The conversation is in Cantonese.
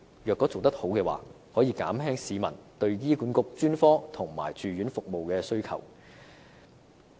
如果做得好，便可以減輕市民對醫管局專科及住院服務的需求。